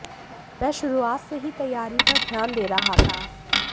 मैं शुरुआत से ही तैयारी पर ध्यान दे रहा था